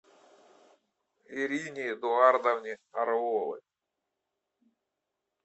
ирине эдуардовне орловой